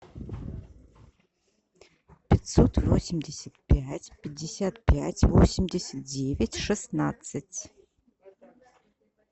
пятьсот восемьдесят пять пятьдесят пять восемьдесят девять шестнадцать